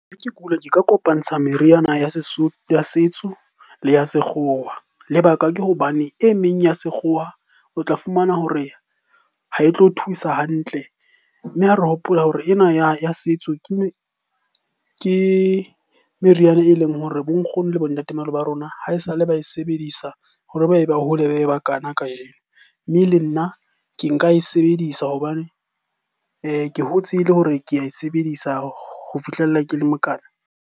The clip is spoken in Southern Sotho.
Ha ke kula ke ka kopantsha meriana ya ya setso le ya sekgowa. Lebaka ke hobane e meng ya sekgowa o tla fumana hore ha e tlo thusa hantle. Mme ha re hopola hore ena ya setso ke meriana e leng hore bo nkgono le bo ntatemoholo ba rona ha esale ba e sebedisa hore ba e ba hole bakana kajeno. Mme le nna ke nka e sebedisa hobane ke hotse e le hore ke ae sebedisa ho fihlella ke le mokana.